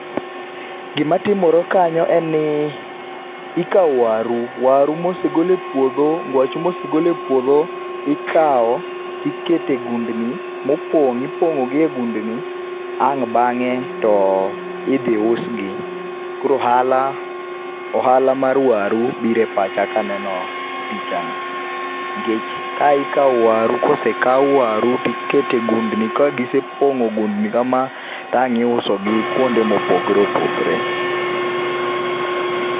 Gima timore kanyo en ni ikaw waru, waru mosegol e puodho, ngwacho mosegol e puodho ikaw tikete gundni mopong, ipongo gi e gundni ang bange to ibi usgi. Koro ohala, ohala mar waru biro e pacha kaneno pichani nikech kae ikaw waru, kosekao waru tikete gundni ka gisepong kama wang iusogi kuonde mopogore opogore